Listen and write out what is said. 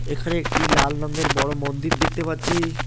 এখানে একটি লাল রঙের বড় মন্দির দেখতে পাচ্ছি।